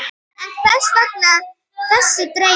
En hvers vegna þessi deyfð?